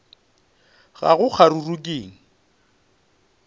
ga go kgaruru ke eng